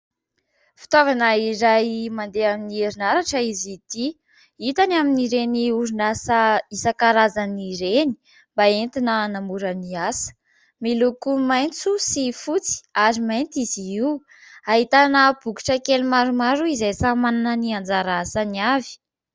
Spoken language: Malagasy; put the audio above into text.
Fitaovana iray mandeha amin'ny herinaratra izy ity, hita any amin'ireny orinasa isankarazan'ireny mba entina hanamora ny asa, miloko maitso sy fotsy ary mainty izy io. Ahitana bokotra kely maromaro izay samy manana ny anjara asany avy.